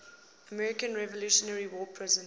american revolutionary war prisoners